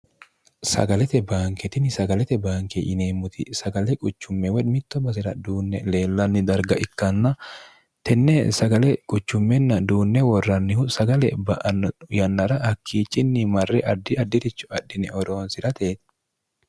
sagalete baanketini sagalete baanke yineemmoti sagale qucummewedmitto basira duunne leellanni darga ikkanna tenne sagale quchummenna duunne worrannihu sagale ba'anno yannara hakkiicinni marre addi addi'richu adhine oroonsi'rate